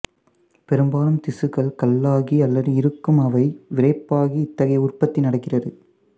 பெரும்பாலும் திசுக்கள் கல்லாகி அல்லது இருக்கும் அவை விறைப்பாகி இத்தகைய உற்பத்தி நடக்கிறது